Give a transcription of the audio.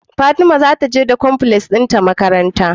Fatima zata je da cornflakes din ta makaranta